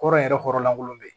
Kɔrɔ yɛrɛ kɔrɔ lankolon bɛ yen